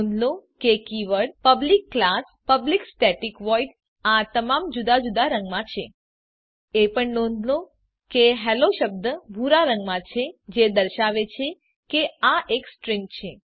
નોંધ લો કે keyword public class public static void આ તમામ જુદા જુદા રંગમાં છે એ પણ નોંધ લો કે હેલ્લો શબ્દ ભૂરા રંગમાં છે જે દર્શાવે છે કે આ એક સ્ટ્રીંગ છે